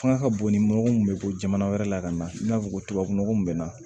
Fanga ka bon ni mɔgɔ mun bɛ bɔ jamana wɛrɛ la ka na i n'a fɔ ko tubabu nɔgɔ min bɛ na